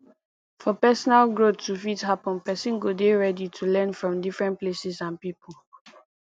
for personal growth to fit happen person go dey ready to learn from different places and pipo